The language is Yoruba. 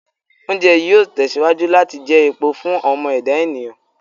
Oúnjẹ yìí ó tẹ̀síwájú láti jẹ epo fún ọmọ ẹ̀dá ènìyàn